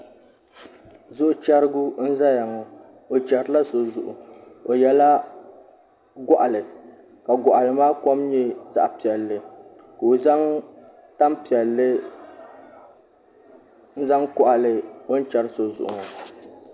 Zuɣu chɛrigu n ʒɛya ŋo o chɛrila so zuɣu o yɛla goɣali ka goɣali maa kom nyɛ zaɣ piɛlli ka o zaŋ tanpiɛlli n koɣali o ni chɛri so zuɣu ŋo